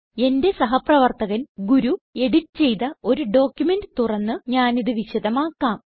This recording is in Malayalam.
എന്റെ സഹപ്രവർത്തകൻ ഗുരു എഡിറ്റ് ചെയ്ത ഒരു ഡോക്യുമെന്റ് തുറന്ന് ഞാനിത് വിശദമാക്കാം